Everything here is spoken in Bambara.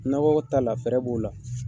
Nakɔkɔ ta la fɛɛrɛ b'o o la.